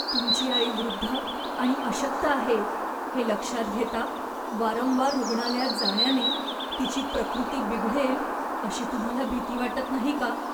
तुमची आई वृद्ध आणि अशक्त आहे हे लक्षात घेता, वारंवार रुग्णालयात जाण्याने तिची प्रकृती बिघडेल अशी तुम्हाला भीती वाटत नाही का?